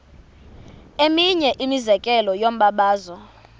eminye imizekelo yombabazo